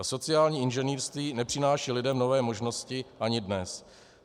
A sociální inženýrství nepřináší lidem nové možnosti ani dnes.